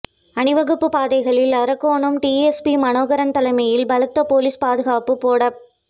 அணிவகுப்புப் பாதைகளில் அரக்கோணம் டிஎஸ்பி மனோகரன் தலைமையில் பலத்த போலீஸ் பாதுகாப்பு போடப்